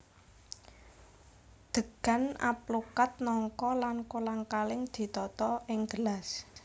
Degan alpukad nangka lan kolang kaling ditata ing gelas